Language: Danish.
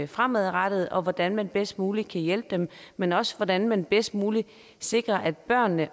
fremadrettet og hvordan man bedst muligt kan hjælpe dem men også hvordan man bedst muligt sikrer at børnene